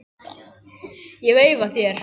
Ég veifa þér.